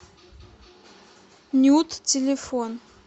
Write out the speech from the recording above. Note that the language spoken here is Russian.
нюд телефон